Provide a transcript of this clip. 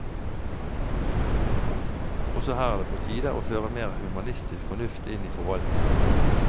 Også her er det på tide å føre mer humanistisk fornuft inn i forvaltningen.